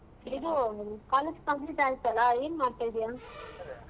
ಇದು college complete ಆಯ್ತಲ್ಲ ಏನ್ ಮಾಡ್ತಾ ಇದಿಯ ?